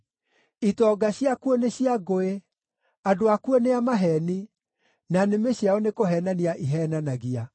Itonga ciakuo nĩ cia ngũĩ; andũ akuo nĩ a maheeni, na nĩmĩ ciao nĩkũheenania iheenanagia.